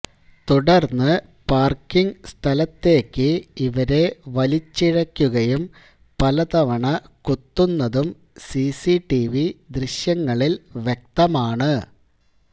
തുടര്ന്ന് പാര്ക്കിങ് സ്ഥലത്തേക്ക് ഇവരെ വലിച്ചിഴയ്ക്കുകയും പല തവണ കുത്തുന്നതും സിസിടിവി ദൃശ്യങ്ങളില് വ്യക്തമാണ്